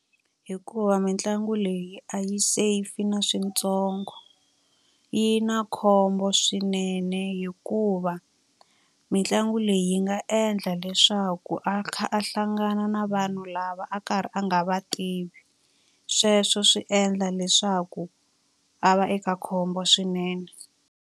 Hikuva mitlangu leyi a yi safe na switsongo. Yi na khombo swinene hikuva, mitlangu leyi yi nga endla endla leswaku a kha a hlangana na vanhu lava a karhi a nga va tivi. Sweswo swi endla leswaku a va eka khombo swinene.